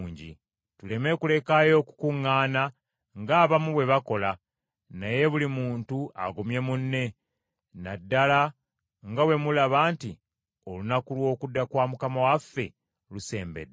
Tuleme kulekayo kukuŋŋaana, ng’abamu bwe bakola, naye buli muntu agumye munne, na ddala nga bwe mulaba nti, Olunaku lw’okudda kwa Mukama waffe lusembedde.